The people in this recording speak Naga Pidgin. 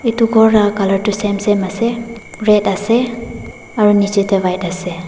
eto kor laga colour toh same same ase red ase aro neji teh white ase.